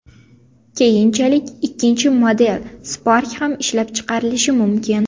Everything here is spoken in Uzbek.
Keyinchalik ikkinchi model Spark ham ishlab chiqarilishi mumkin.